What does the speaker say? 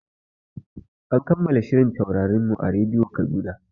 An kammala shirin Taurarin mu a radiyo Kaduna.